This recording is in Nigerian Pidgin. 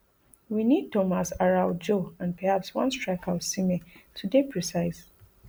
we need tomas araujo and perhaps one striker osimhen to dey precise